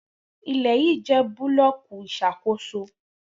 Ile yii jẹ bulọọki iṣakoso